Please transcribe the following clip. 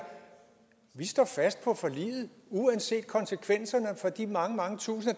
vi står fast på forliget uanset konsekvenserne for de mange mange tusinde